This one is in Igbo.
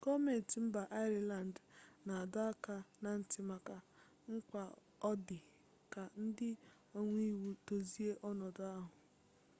gọọmentị mba ireland na-adọ aka na ntị maka mkpa ọ dị ka ndị omeiwu dozie ọnọdụ ahụ